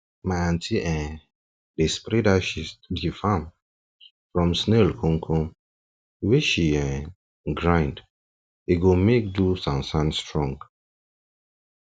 my aunty um dey spread ashes to de farm from snail komkom wey she um grind um e go make do sansan strong